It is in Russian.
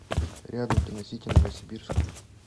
рядом киносити новосибирск